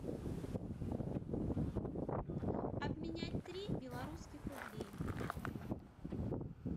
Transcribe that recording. обменять три белорусских рублей